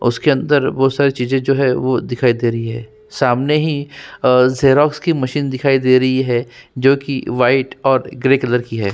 उसके अंदर बहोत सारी चीजे जो है वो दिखाई दे री है सामने ही अ जेरोक्स की मशीन दिखाई दे रयी है जो की वाइट और ग्रे कलर की है।